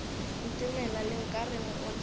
ntemela le nkareng o tla